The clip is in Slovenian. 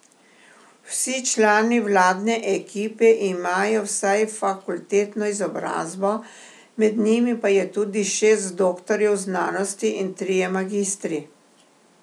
Vsi člani vladne ekipe imajo vsaj fakultetno izobrazbo, med njimi pa je tudi šest doktorjev znanosti in trije magistri.